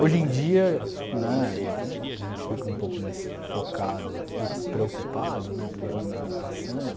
Hoje em dia, né, a gente fica um pouco mais focado e preocupado, né, porque os anos vão passando,